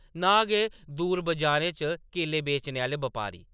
नां गै दूर बाजारें च केले बेचने आह्‌‌‌ले बपारी ।